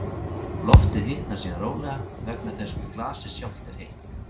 Loftið hitnar síðan rólega vegna þess hve glasið sjálft er heitt.